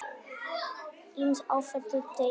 Ýmis áföll dundu yfir.